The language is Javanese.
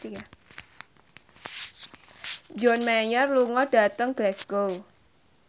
John Mayer lunga dhateng Glasgow